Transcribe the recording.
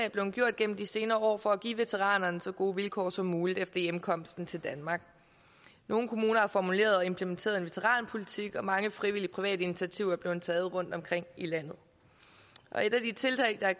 gennem de senere år for at give veteranerne så gode vilkår som muligt efter hjemkomsten til danmark nogle kommuner har formuleret og implementeret en veteranpolitik og mange frivillige private initiativer er blevet taget rundtomkring i landet et af de tiltag der har